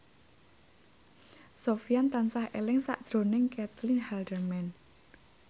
Sofyan tansah eling sakjroning Caitlin Halderman